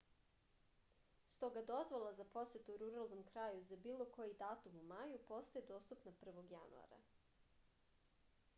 stoga dozvola za posetu ruralnom kraju za bilo koji datum u maju postaje dostupna 1. januara